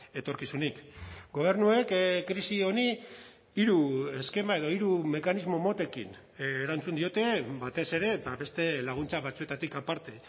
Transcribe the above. etorkizunik gobernuek krisi honi hiru eskema edo hiru mekanismo motekin erantzun diote batez ere eta beste laguntza batzuetatik aparte